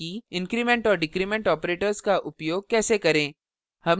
increment और decrement operators का उपयोग कैसे करें